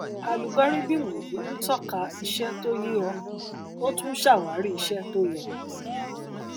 alugọrídìmù yìí ń tọka iṣẹ tó yé ọ ó tún ṣàwárí iṣẹ tó yẹ